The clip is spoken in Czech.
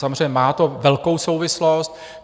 Samozřejmě má to velkou souvislost.